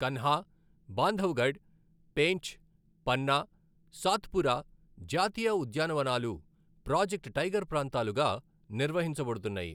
కన్హా, బాంధవ్గఢ్, పేంచ్, పన్నా, సాత్పురా జాతీయ ఉద్యానవనాలు project tiger ప్రాంతాలుగా నిర్వహించబడుతున్నాయి.